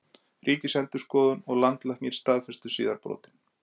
Ríkisendurskoðun og Landlæknir staðfestu síðar brotin